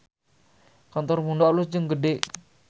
Kantor Mundo alus jeung gede